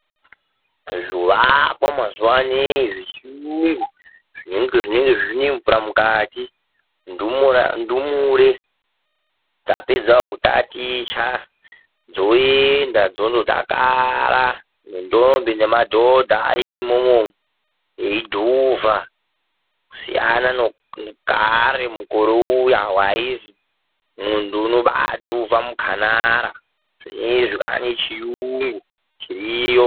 Zvoakwa mazuwa anaa zvechiyungu, zvinenge zvine mvura mukati. Ndumure dzapedzawo kutaticha dzoenda dzondodakara nendombi nemadhodha arimwowo eidhuvha. Kusiyana nekare, mukore uya waizwi munthu uno baadhuva mukhanara. Zvinezvi kwaa nechiyungu chiriyo.